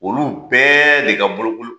Olu bɛɛ de ka bolokoli